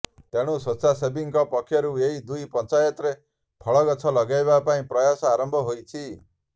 ତେଣୁ ସ୍ବେଚ୍ଛାସେବୀଙ୍କ ପକ୍ଷରୁ ଏହି ଦୁଇ ପଞ୍ଚାୟତରେ ଫଳଗଛ ଲଗେଇବା ପାଇଁ ପ୍ରୟାସ ଆରମ୍ଭ ହୋଇଛି